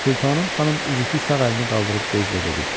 Sultanım xanım üzüklü sağ əlini qaldırıb qəzblə dedi: